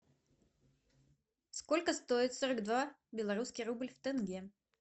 сколько стоит сорок два белорусский рубль в тенге